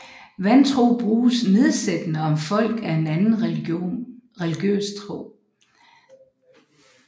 Vantro bruges nedsættende om folk af en anden religiøs tro